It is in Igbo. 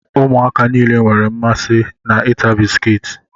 Ụmụaka nile nwere mmasị na ịta bisikiiti